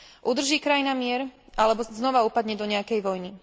Udrží krajina mier alebo znova upadne do nejakej vojny?